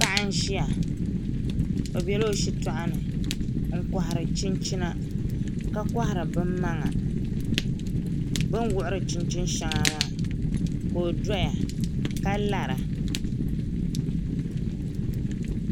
Paɣa n ʒiya i biɛla o shitoɣu ni n kohari chinchina ka kohari binmaŋa bi ni wuɣuri chinchin shɛŋa maa ka o doya ka lara